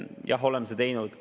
Jah, oleme seda teinud.